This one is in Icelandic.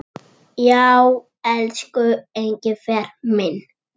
Já, elsku Engifer minn.